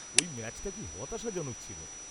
-ওই ম্যাচটা কী হতাশাজনক ছিল।